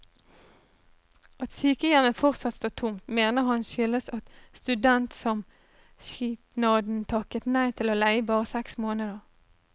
At sykehjemmet fortsatt står tomt, mener han skyldes at studentsamskipnaden takket nei til å leie i bare seks måneder.